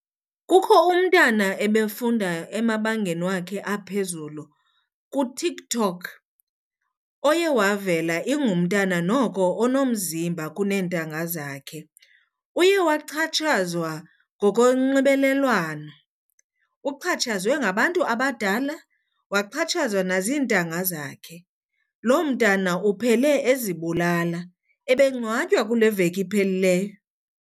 Kukho umntana ebefunda emabangeni wakhe aphezulu kuTikTok oye wavela ingumntana noko onomzimba kuneentanga zakhe. Uye waxhatshazwa ngokonxibelelwano, uxhatshazwe ngabantu abadala waxhatshazwa nazintanga zakhe. Loo mntana uphele ezibulala, ebengcwatywa kule veki iphelileyo.